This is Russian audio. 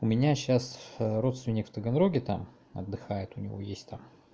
у меня сейчас родственник в таганроге там отдыхает у него есть там